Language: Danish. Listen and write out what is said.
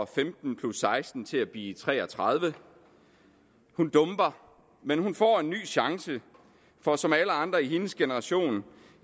femten seksten til at blive tre og tredive hun dumper men hun får en ny chance for som alle andre i hendes generation